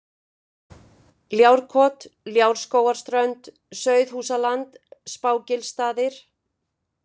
Ljárkot, Ljárskógarströnd, Sauðhúsaland, Spágilsstaðir